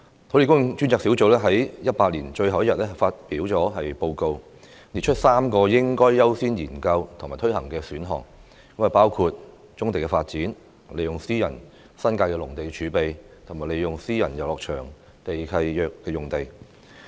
土地供應專責小組在2018年最後一天發表報告，列出3個應該優先研究及推行的選項：包括棕地發展、利用私人新界農地儲備、利用私人遊樂場地契約的用地。